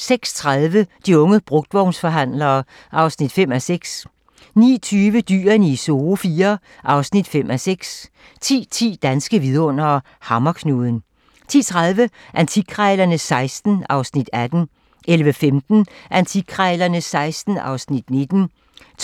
06:30: De unge brugtvognsforhandlere (5:6) 09:20: Dyrene i Zoo IV (5:6) 10:10: Danske vidundere: Hammerknuden 10:30: Antikkrejlerne XVI (Afs. 18) 11:15: Antikkrejlerne XVI (Afs. 19)